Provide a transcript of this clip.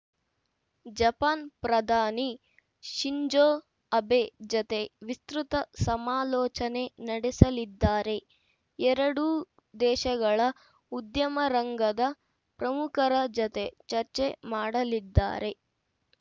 Japan ಪ್ರಧಾನಿ Shinzo Abe ಜತೆ ವಿಸ್ತೃತ ಸಮಾಲೋಚನೆ ನಡೆಸಲಿದ್ದಾರೆ ಎರಡೂ ದೇಶಗಳ ಉದ್ಯಮರಂಗದ ಪ್ರಮುಖರ ಜತೆ ಚರ್ಚೆ ಮಾಡಲಿದ್ದಾರೆ